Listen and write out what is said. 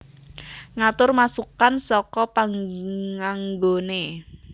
Ngatur masukkan saka panganggoné